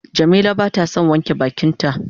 Jamila bata son wanke bakin ta.